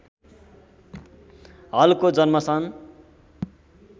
हलको जन्म सन्